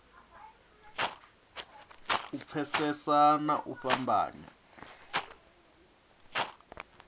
u pfesesa na u fhambanya